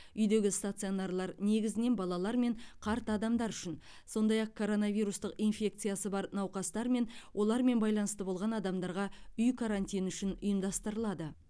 үйдегі стационарлар негізінен балалар мен қарт адамдар үшін сондай ақ коронавирустық инфекциясы бар науқастар мен олармен байланыста болған адамдарға үй карантині үшін ұйымдастырылады